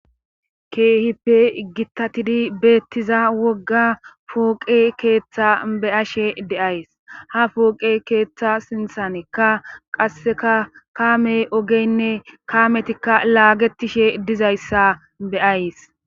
Keehippe gittatidi beettiza wogga pooqe keeththa be ashe deays ha fooqe keeththa sinthanekka qasseka kaamey ogeynne kaametikka laagetishe dizayssa beays